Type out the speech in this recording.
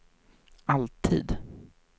alltid